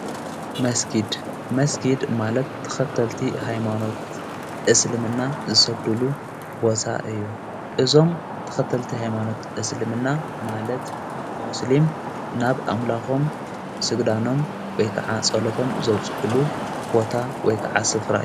መስጊድ መስጊድ ማለት ተኸተልቲ ኃይማኖት እስልምና ዝሰግዱሉ ቦታ እዩ እዞም ተኸተልቲ ኃይማኖት እስልምና ማለት ሞስሊም ናብ ኣምላኾም ሥግዳኖም ወይ ከዓ ጸሎቶም ዘውጽሕሉ ቦታ ወይ ከዓ ሥፍራ እዩ።